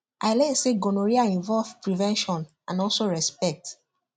i learn say gonorrhea involve prevention and also respect